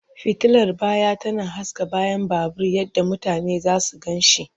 Fitilar baya tana haska bayan babur yadda mutane za su gan shi.